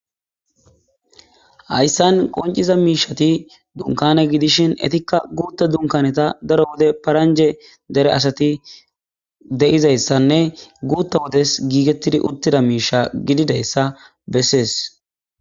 Hayssan qonciza miishati dunkana gidishin etikka guutta dunkaneta daro wode paranje dere asati de7izayssanne guutta wotes giigettidi uttida miisha gididayssa bessees